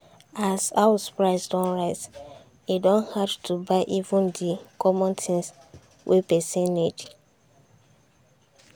as house price don rise e don hard to buy even the common things wey person need.